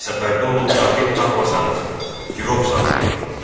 Səfərdə olub katib tapmasanız, girov saxlayın.